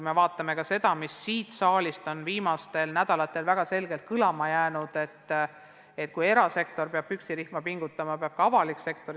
Me arvestame ka seda, mis siin saalis on viimastel nädalatel väga selgelt kõlama jäänud: kui erasektor peab püksirihma pingutama, siis peab ka avalik sektor.